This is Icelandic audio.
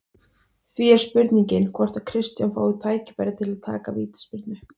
Því er spurning hvort að Kristján fái tækifæri til að taka vítaspyrnu?